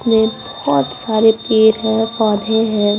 में बहुत सारे पेर है पौधे है।